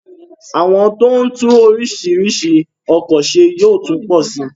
Àwọn tó ń tún orísirísi ọkọ̀ se yóò tún pọ sí